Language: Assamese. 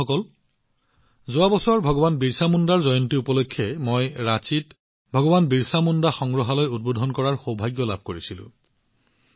বন্ধুসকল যোৱা বছৰ ভগৱান বিৰচা মুণ্ডাৰ জন্ম জয়ন্তী উপলক্ষে মই ৰাঁচীত ভগৱান বিৰচা মুণ্ডা সংগ্ৰহালয় উদ্বোধন কৰাৰ সৌভাগ্য লাভ কৰিছিলো